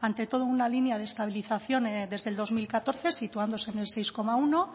ante todo una línea de estabilización desde el dos mil catorce situándose en el seis coma uno